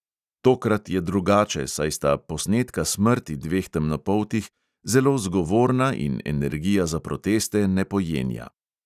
Tokrat je drugače, saj sta posnetka smrti dveh temnopoltih zelo zgovorna in energija za proteste ne pojenja.